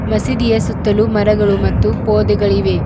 ಮಸೀದಿಯ ಸುತ್ತಲೂ ಮರಗಳು ಮತ್ತು ಪೋದೆಗಳಿವೆ.